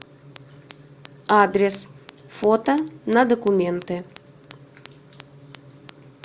адрес фото на документы